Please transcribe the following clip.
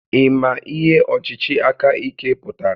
Ị ma ihe ọchịchị aka ike pụtara?